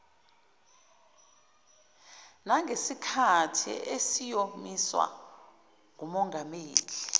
nangesikhathi esiyomiswa ngumongameli